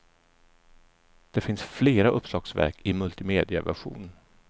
Det finns flera uppslagsverk i multimediaversion.